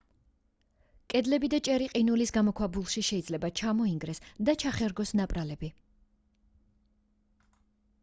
კედლები და ჭერი ყინულის გამოქვაბულებში შეიძლება ჩამოინგრეს და ჩახერგოს ნაპრალები